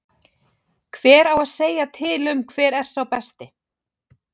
Hver á að segja til um hver er sá besti?